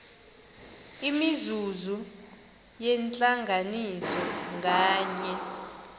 imizuzu yentlanganiso nganye